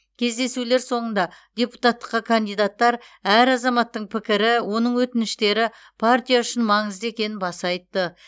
кездесулер соңында депутаттыққа кандидаттар әр азаматтың пікірі оның өтініштері партия үшін маңызды екенін баса айтты